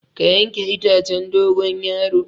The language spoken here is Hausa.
Ka yanke itacen dogon yaro.